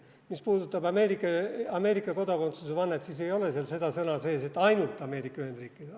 Mis puudutab Ameerika kodakondsusvannet, siis ei ole seal seda sõna sees, et ainult Ameerika Ühendriikidele.